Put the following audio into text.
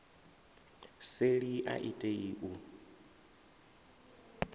seli a i tei u